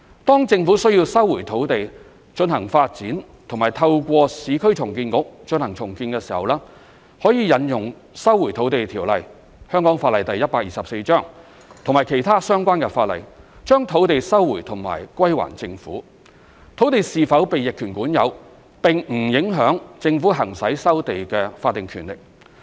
當政府需要收回土地進行發展或透過市區重建局進行重建時，可引用《收回土地條例》及其他相關法例，將土地收回及歸還政府，土地是否被逆權管有並不影響政府行使收地的法定權力。